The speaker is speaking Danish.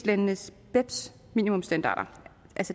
landenes beps minimumsstandarder